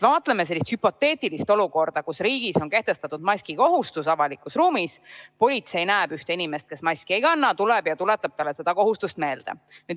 Vaatleme sellist hüpoteetilist olukorda, kus riigis on kehtestatud maski kandmise kohustus avalikus ruumis, politsei näeb ühte inimest, kes maski ei kanna, astub juurde ja tuletab talle seda kohustust meelde.